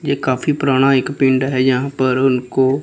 ये काफी पुराना एक पिंड है यहां पर उनको--